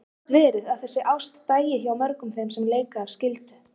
Gat verið að þessi ást dæi hjá mörgum þeim sem leika af skyldu?